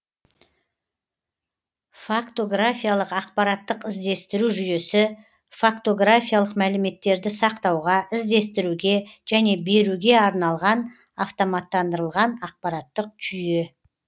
фактографиялық ақпараттық іздестіру жүйесі фактографиялық мәліметтерді сақтауға іздестіруге және беруге арналған автоматтандырылған ақпараттық жүйе